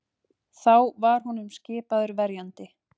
Þá var honum skipaður verjandi